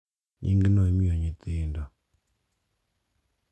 Nying’no imiyo nyithindo, .